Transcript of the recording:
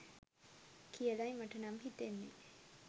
කියලයි මටනම් හිතෙන්නෙ.